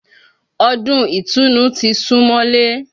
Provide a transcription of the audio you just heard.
Ọdún ìtùnu ti sún mọ́lé